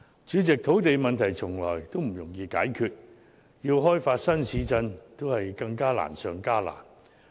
主席，土地問題從來不容易解決，要開發新市鎮更是難上加難。